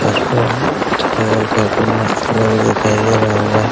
काफी मस्त लग